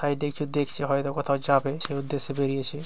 Side এ কিছু দেখছে। হয়তো কোথাও যাবে সেই উদ্দেশ্যে বেরিয়েছে।